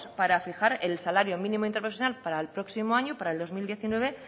para fijar el salario mínimo interprofesional para el próximo año para el dos mil diecinueve